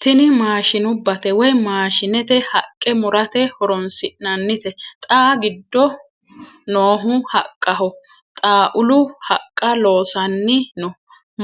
tini maashshinubbate woy maashshinete haqqa murate horoonsi'nannite xa giddo noohu haqqaho xaaulu haqqa loossanni no